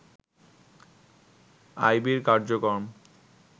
আইবির কার্যক্রম